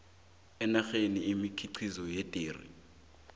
ngenarheni imikhiqizo yederi